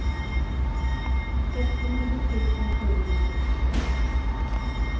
sextionio tusen sjuhundrasextiosex